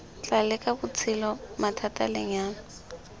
tla leka botshelo mathata lenyalo